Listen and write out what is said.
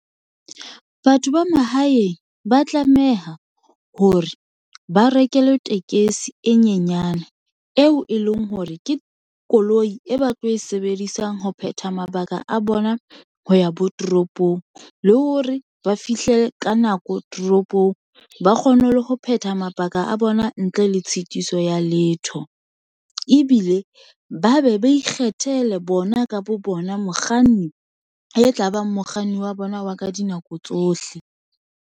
Batho ba mahaeng ba tlameha hore ba rekelwe tekesi e nyenyane, eo e leng hore ke koloi e ba tlo e sebedisang ho phetha mabaka a bona ho ya bo toropong, le hore ba fihle ka nako toropong, ba kgone le ho phetha mabaka a bona ntle le tshitiso ya letho, ebile ba be ba ikgethele bona ka bo bona mokganni e tlabang mokganni wa bona wa ka dinako tsohle